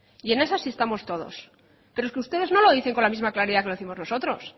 y en esa sí estamos todos pero es que ustedes no lo dicen con la misma claridad que lo décimos nosotros